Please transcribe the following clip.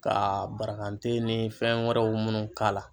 Ka baragan den ni fɛn wɛrɛw minnu k'a la.